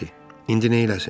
İndi neyləsin?